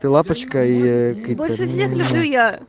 ты лапочка её жилья